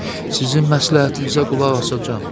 Sizin məsləhətinizə qulaq asacam.